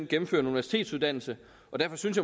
gennemfører en universitetsuddannelse og derfor synes